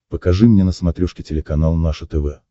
покажи мне на смотрешке телеканал наше тв